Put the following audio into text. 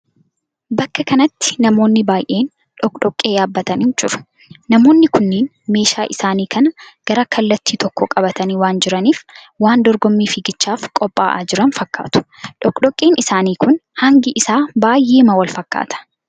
Bakka kanatti namoonni baay'een dhokkodhokkee yaabbaatanii jiru. Namoonni kunniin meeshaa isaanii kana gara kallatti tokko qabatanii waan jiraniif waan dorgommii fiigichaaf qophaa'aa jiran fakkaatu. Dhokkodhokkeen isaanii kun hangi isaa baay'eema wal fakkaata.